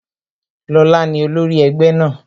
Lóla ni olórí egbe náà